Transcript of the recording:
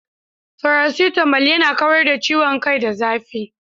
Faracetamal yana kawar da ciwon kai da zafi.